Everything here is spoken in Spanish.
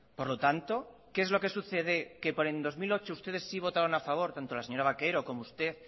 por lo tanto qué es lo que sucede que por el dos mil ocho ustedes sí votaron a favor tanto la señora vaquero como usted